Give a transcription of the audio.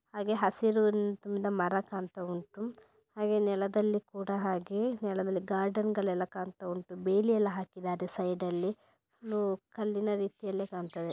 ಹಾಗೆ ಹಸಿರು ನಿಂದ ಮರ ಕಾಣ್ತಾ ವುಂಟು ಹಾಗೆ ನೆಲದಲ್ಲಿ ಕೂಡ ಹಾಗೆ ನೆಲದಲ್ಲಿ ಗಾರ್ಡನ್ ಗಳೆಲ್ಲ ಕಾಣ್ತಾ ವುಂಟು ಬೇಲಿಯಲ್ಲ ಹಾಕಿದ್ದಾರೆ ಸೈಡ್ ಅಲ್ಲಿ ಫುಲ್ಲು ರೀತಿಯಲ್ಲೆ ಕಾಣ್ತಾ ಇದೆ .